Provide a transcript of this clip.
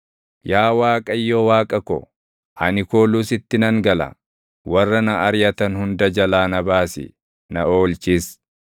Yaa Waaqayyo Waaqa ko, ani kooluu sitti nan gala; warra na ariʼatan hunda jalaa na baasi; na oolchis;